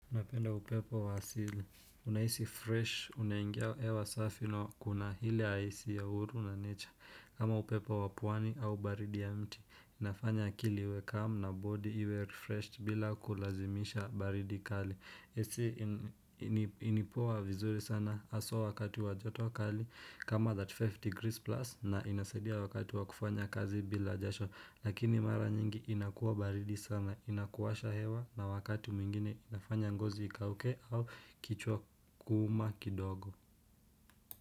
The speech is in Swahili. Unapenda upepo wa asili. Unahisi fresh, unaingia hewa safi na kuna hili haisi ya uhuru wa nature. Kama upepo wa pwani au baridi ya mti, inafanya akili iwe calm na body iwe refreshed bila kulazimisha baridi kali. AC ni poa vizuri sana hasa wakati wa joto wa kali kama 35 degrees plus na inasaidia wakati wa kufanya kazi bila jasho. Lakini mara nyingi inakua baridi sana, inakuwasha hewa na wakati mwingine inafanya ngozi ikauke au kichwa kuuma kidogo.